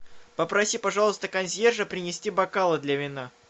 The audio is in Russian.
попроси пожалуйста консьержа принести бокалы для вина